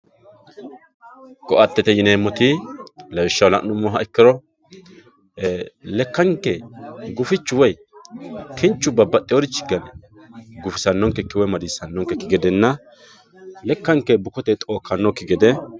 ko"atete yineemoti lawishshaho la'numoha ikkiro lekankke gufichu woye kinchu babbaxiyoorichi gane gufisanonkeki woy madiisanonkekki gedenna lekkanke bukote xookkannokki gede